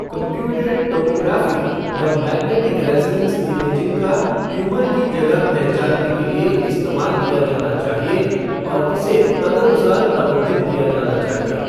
Computed tomography या magnetic resonance imaging का tumour की जगह पहचानने के लिए इस्तेमाल किया जाना चाहिए और इसे तदानुसार प्रबंधित किया जाना चाहिए।